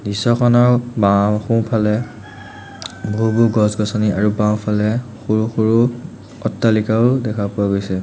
দৃশ্যখনৰ বাওঁ সোঁফালে বহু বহু গছ-গছনি আৰু বাওঁফালে সৰু সৰু অট্টালিকাও দেখা পোৱা গৈছে।